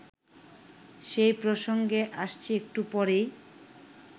সে প্রসঙ্গে আসছি একটু পরেই